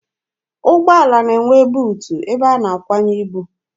Ụgbọala na-enwe buutu ebe a na-akwanye ibu.